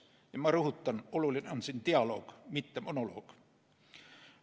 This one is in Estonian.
Ja ma rõhutan: oluline on dialoog, mitte monoloog.